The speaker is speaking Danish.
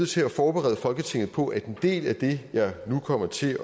til at forberede folketinget på at en del af det jeg nu kommer til